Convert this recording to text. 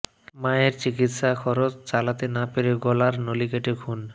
মায়ের চিকিৎসার খরচ চালাতে না পেরে গলার নলি কেটে খুন